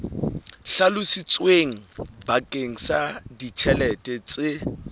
hlalositsweng bakeng sa ditjhelete tse